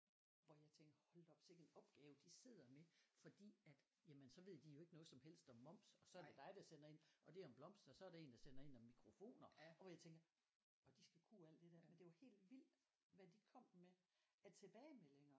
Hvor jeg tænkte hold da op sikke en opgave de sidder med fordi at jamen så ved de jo ikke noget som helst om moms og så er det dig der sender ind og det er om blomster og så er der en der sender ind om mikrofoner og hvor jeg tænker og de skal kunne alt det der men det var helt vildt hvad de kom med af tilbagemeldinger